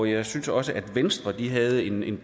jeg synes også at venstre havde en